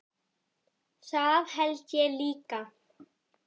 Það held ég líka